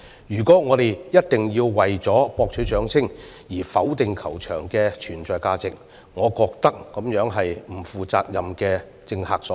如果我們一定要為博取掌聲而否定球場的存在價值，我認為是不負責任的政客所為。